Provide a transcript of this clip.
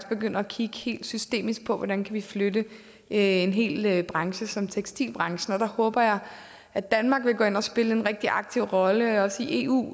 begynder at kigge helt systemisk på hvordan vi kan flytte en hel branche som tekstilbranchen og der håber jeg at danmark vil gå ind og spille en rigtig aktiv rolle også i eu